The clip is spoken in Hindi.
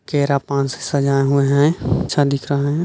केरा पान से सजाए हुए है अच्छा दिख रहा है।